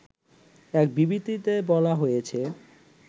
এক বিবৃতিতে বলা হয়েছে